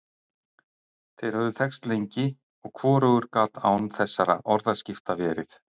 Þeir höfðu þekkst lengi, og hvorugur gat án þessara orðaskipta verið.